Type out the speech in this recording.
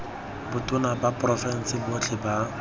botona ba porofense botlhe ba